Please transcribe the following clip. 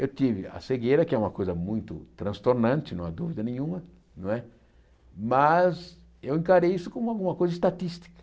Eu tive a cegueira, que é uma coisa muito transtornante, não há dúvida nenhuma não é, mas eu encarei isso como alguma coisa estatística.